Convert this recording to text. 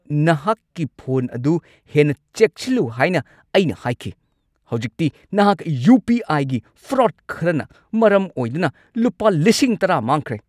ꯅꯍꯥꯛꯀꯤ ꯐꯣꯟ ꯑꯗꯨ ꯍꯦꯟꯅ ꯆꯦꯛꯁꯤꯜꯂꯨ ꯍꯥꯏꯅ ꯑꯩꯅ ꯍꯥꯏꯈꯤ꯫ ꯍꯧꯖꯤꯛꯇꯤ ꯅꯍꯥꯛ ꯌꯨ. ꯄꯤ. ꯑꯥꯏ.ꯒꯤ ꯐ꯭ꯔꯣꯗ ꯈꯔꯅ ꯃꯔꯝ ꯑꯣꯏꯗꯨꯅ ꯂꯨꯄꯥ ꯱꯰,꯰꯰꯰ ꯃꯥꯡꯈ꯭ꯔꯦ꯫